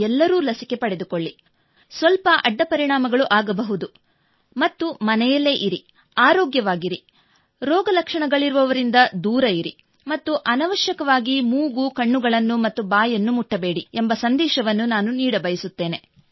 ಎಲ್ಲರೂ ಲಸಿಕೆ ಪಡೆದುಕೊಳ್ಳಿ ಸ್ವಲ್ಪ ಅಡ್ಡಪರಿಣಾಮ ಆಗಬಹುದು ಮನೆಯಲ್ಲೇ ಇರಿ ಆರೋಗ್ಯವಾಗಿರಿ ರೋಗಲಕ್ಷಣಗಳಿರುವವರಿಂದ ದೂರವಿರಿ ಮತ್ತು ಅನವಶ್ಯಕವಾಗಿ ಮೂಗು ಕಣ್ಣುಗಳನ್ನು ಮತ್ತು ಬಾಯನ್ನು ಮುಟ್ಟಬೇಡಿ ಎಂಬ ಸಂದೇಶವನ್ನು ನಾನು ನೀಡಬಯಸುತ್ತೇನೆ